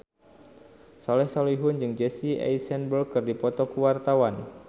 Soleh Solihun jeung Jesse Eisenberg keur dipoto ku wartawan